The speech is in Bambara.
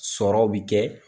Sɔrɔw bi kɛ.